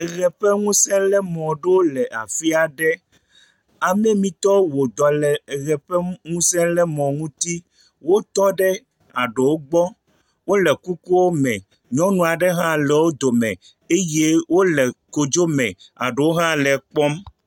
Ʋe ƒe ŋusẽ lé mɔ̃ aɖewo le afi aɖe. Ame mitɔwo wɔ dɔ le eʋe ƒe ŋusẽ lé mɔ̃ ŋuti. Wotɔ ɖe aɖowo gbɔ. Wole kukuwome. Nyɔnuwo hã le wo dome. Eye wole kodzome. Aɖewo hã le wo kpɔm.